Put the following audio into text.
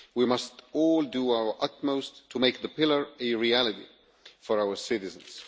We must all do our utmost to make the pillar a reality for our citizens.